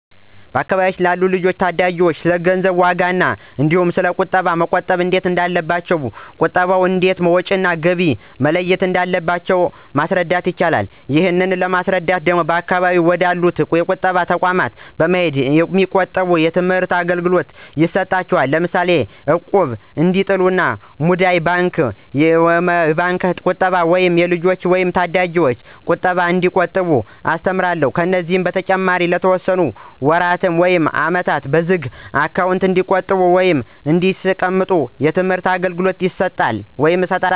በአካባቢው ላሉ ልጆች ወይም ታዳጊዎች ስለገንዘብ ዋጋ እንዲሁ ስለ ቁጠባ እንዴት መቆጠብ እንዳለባቸው የት ቦታ እንደሚቆጥቡ እና እንዴት ወጭ እና ገቢያቸውን መለየት እንዳለባቸው አስረዳቸውአለሁ። ይህንን ለማስረዳት በአካባቢያቸው ወደ አሉ የቁጠባ ተቋማት በመሄድ እንዲቆጥቡ የትምህርት አገልግሎት እሰጣለሁ። ለምሳሌ እቁብ እንዲጥሉ፣ ሙዳይ ባንክ፣ የባንክ ቁጠባ ወይም የልጆች ወይም የታዳጊዎች ቁጠባ እንዲቆጥቡ አስተምራለሁ። ከዚህ በተጨማሪ ለተወሰነ ወራት ውይም አመት በዝግ አካውንት እንዲቆጥቡ ወይም እንዲያስቀምጡ የትምህርት አገልገሎት እሰጣለሁ።